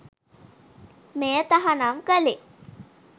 මෙය තහනම් කලේ